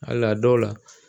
Hali a dɔw la